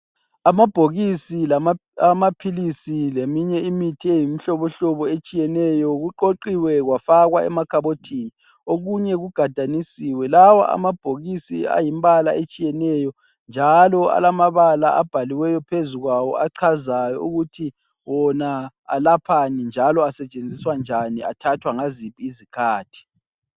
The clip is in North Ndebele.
Amabhokisi awamaphilisi leminye imithi eyimihlohlobo etshiyeneyo kuqoqiwe kwafakwa emakhabothini. Okunye kugadanisiwe. Lawo amabhokisi ayimibala etshiyeneyo njalo alamabala abhaliweyo phezu kwawo achazayo ukuthi wona alaphani njalo asetshenziswa njani, athathwa ngaziphi izikhathi.